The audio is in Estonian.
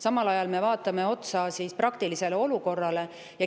Samal ajal me vaatame otsa olukorrale.